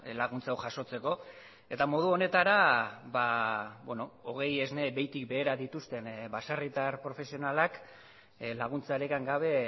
laguntza hau jasotzeko eta modu honetara hogei esne behitik behera dituzten baserritar profesionalak laguntzarik gabe